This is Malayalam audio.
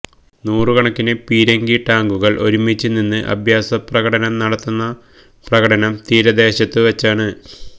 നൂറ് കണക്കിന് പീരങ്കിടാങ്കുകള് ഒരുമിച്ച് നിന്ന് അഭ്യാസപ്രകടനം നടത്തുന്ന പ്രകടനം തീരദേശത്തുവെച്ചാണ്